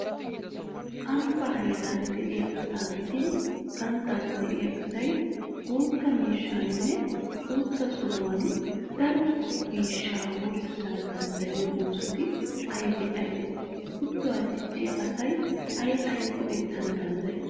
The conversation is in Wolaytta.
Ambbaa heeran de'iya asaa gidin ganddan de'iya asay guutta miishshaaninne guutta sohuwan daro miishshaa worissana danddayiyo oosoti aybee aybee? Kuttuwa dichchiya asi ay ay go"ettana danddayii?